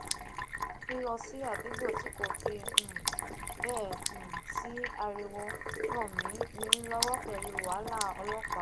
lilo si adugbo ti kò fi um béè um sí ariwo ran mi mi lowo pelu wahala olopaa